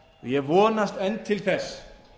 ég vonast enn til þess